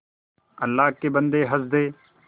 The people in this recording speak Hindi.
अल्लाह के बन्दे हंस दे